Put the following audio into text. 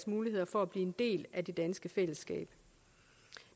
muligheder for at blive en del af det danske fællesskab